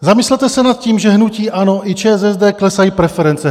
Zamyslete se nad tím, že hnutí ANO i ČSSD klesají preference.